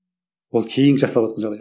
ол кейінгі жасаватқан жағдай